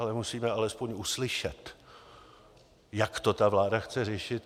Ale musíme aspoň uslyšet, jak to ta vláda chce řešit.